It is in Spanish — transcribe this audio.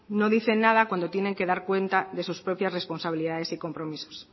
no dicen nada cuando tienen que dar cuenta de sus propias responsabilidades y compromisos